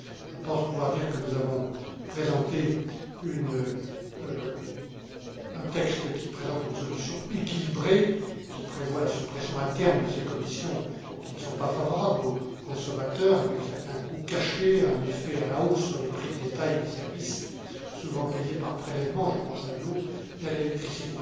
Je pense pouvoir dire que nous avons présenté un texte qui présente une solution équilibrée, qui prévoit la suppression à terme de ces commissions qui ne sont pas favorables aux consommateurs, avec certains coûts cachés et avec un effet à la hausse sur les prix de détail des services, souvent payés par prélèvement je pense à l'eau et à l'électricité.